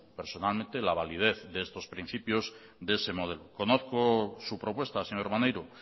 personalmente la validez de estos principios de ese modelo conozco su propuesta señor maneiro